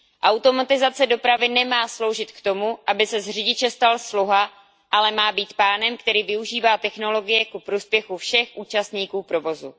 Automatizace dopravy nemá sloužit k tomu, aby se z řidiče stal sluha, ale má být pánem, který využívá technologie ku prospěchu všech účastníků provozu.